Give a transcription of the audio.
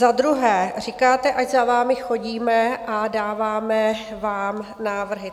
Za druhé, říkáte, ať za vámi chodíte a dáváme vám návrhy.